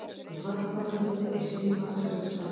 Í fallbaráttunni er sívaxandi spenna